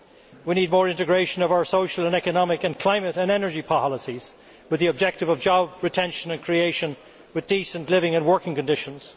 We need more integration of our social and economic and climate and energy policies, with the objective of job retention and creation with decent living and working conditions.